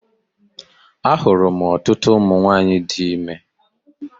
A hụrụ m ọtụtụ ụmụ nwaanyị di ime.